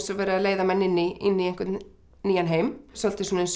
verið að leiða menn inn í einhvern nýjan heim svolítið svona eins og